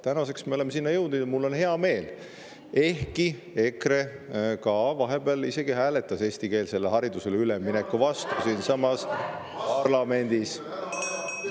Tänaseks me oleme selle jõudnud, mille üle mul on hea meel, ehkki EKRE vahepeal isegi hääletas eestikeelsele haridusele ülemineku vastu siinsamas parlamendis.